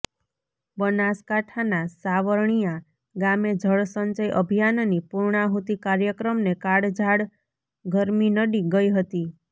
બનાસકાંઠાના સાવણિયા ગામે જળસંચય અભિયાનની પૂર્ણાહુતિ કાર્યક્રમને કાળઝાળ ગરમી નડી ગઈ હતી